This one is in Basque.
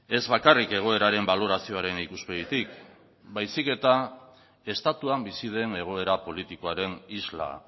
ez bakarrik egoeraren balorazioaren ikuspegitik baizik eta estatuan bizi den egoera politikoaren isla